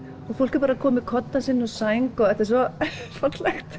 og fólk er bara komið með koddann sinn og sæng þetta er svo fallegt